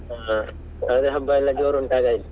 ಹಾ ಹಾಗಾದ್ರೆ ಹಬ್ಬ ಎಲ್ಲಾ ಜೋರು ಉಂಟ್ ಹಾಗಾಯ್ತ್.